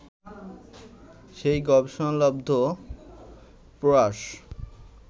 সেই গবেষণালব্ধ প্রয়াস